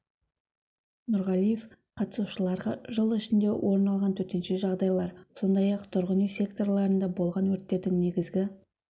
нурғалиев қатысушыларға жыл ішінде орын алған төтенше жағдайлар сондай-ақ тұрғын үй секторында болған өрттердің негізгі